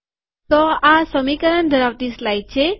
તો આ સમીકરણ ધરાવતી સ્લાઈડ છે